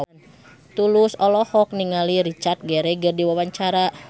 Tulus olohok ningali Richard Gere keur diwawancara